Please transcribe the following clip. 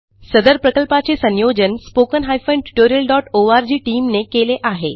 सदर प्रकल्पाचे संयोजन spoken tutorialओआरजी टीम ने केले आहे